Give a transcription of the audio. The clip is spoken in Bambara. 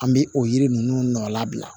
An bɛ o yiri ninnu nɔ labila